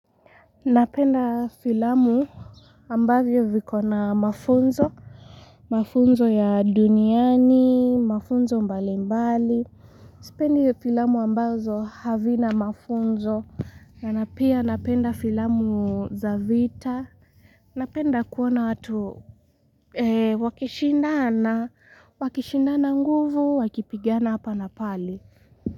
Napenda filamu ambavyo viko na mafunzo, mafunzo ya duniani, mafunzo mbali mbali. Sipendi filamu ambazo havina mafunzo na, na pia napenda filamu za vita. Napenda kuona watu wakishindana, wakishindana nguvu, wakipigana hapa na pale.